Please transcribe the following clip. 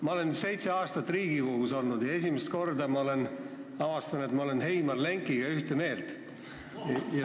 Ma olen seitse aastat Riigikogus olnud ja esimest korda olen avastanud, et ma olen Heimar Lengiga ühte meelt.